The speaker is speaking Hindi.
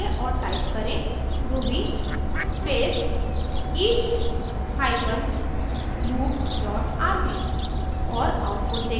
अब टर्मिनल खोलें और टाइप करें ruby space each hyphen loop dot rb